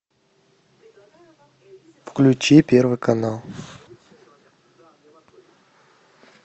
включи первый канал